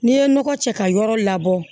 N'i ye nɔgɔ cɛ ka yɔrɔ labɔ